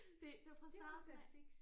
Det det er fra starten af